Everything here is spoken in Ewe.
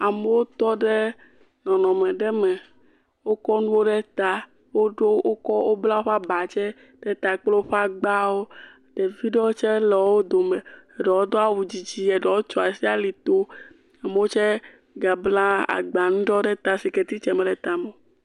Amewo tɔ ɖe nɔnɔme ɖe me, wokɔ nuwo ɖe ta woɖo wokɔ wobla woƒe aba tse, ɖe ta kple woƒe agbawo ɖevi ɖe tse le wo dome eɖewo do awu dzidzi eɖewo tso asi ali to amewo tse gabla agbanuwo ɖe ata sike titse mele eme o.